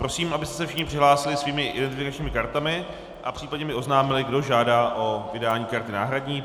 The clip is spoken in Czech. Prosím, abyste se všichni přihlásili svými identifikačními kartami a případně mi oznámili, kdo žádá o vydání karty náhradní.